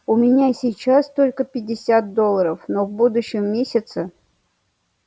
у меня сейчас только пятьдесят долларов но в будущем месяце